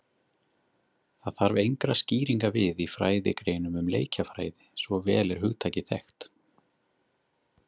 Það þarf engra skýringa við í fræðigreinum um leikjafræði, svo vel er hugtakið þekkt.